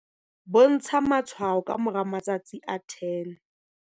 bontsha matshwao ka moramatsatsi a 10?